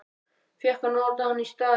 Fékk að nota hann í staðinn.